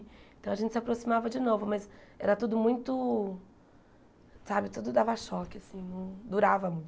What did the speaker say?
Então, a gente se aproximava de novo, mas era tudo muito... Sabe, tudo dava choque, assim, não durava muito.